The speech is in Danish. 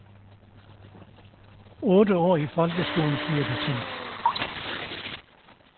Otte år i folkeskolen blev det til.